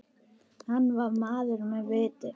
Hann var maður með viti.